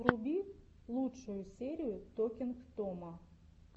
вруби лучшую серию токинг тома